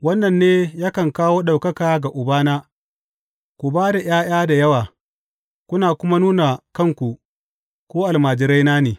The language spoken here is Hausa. Wannan ne yakan kawo ɗaukaka ga Ubana, ku ba da ’ya’ya da yawa, kuna kuma nuna kanku ku almajiraina ne.